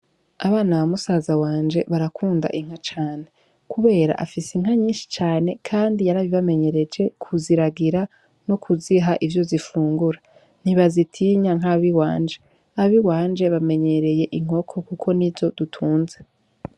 Abana ba musaza wanje barakunda inka cane, kubera afise inka nyinshi cane kandi yarabibamenyereje kuziragira no kuziha ivyo zifungura. Ntibazitinya nk'abiwanje. Abiwanje bamenyereye inkoko kuko nizo dutunze.